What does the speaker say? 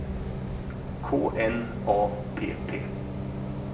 K N A P P